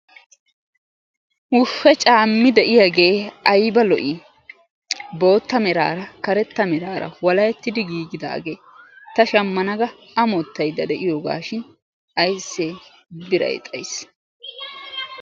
Wushshe caammi de"iyagee ayba lo"ii bootta meraara karetta meraara walahetti giigidaage ta shammana ga amottaydda de"iyooga shin ayssee birayi xayis.